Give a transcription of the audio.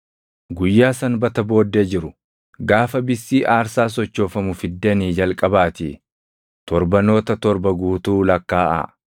“ ‘Guyyaa Sanbata booddee jiru, gaafa bissii aarsaa sochoofamu fiddanii jalqabaatii torbanoota torba guutuu lakkaaʼaa.